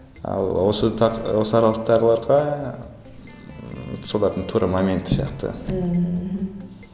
ал осы осы аралықтағыларға ммм солардың тура моменті сияқты ммм мхм